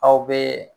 Aw bɛ